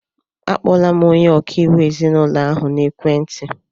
A kpọọla m onye ọkaiwu ezinaụlọ ahụ n'ekwentị.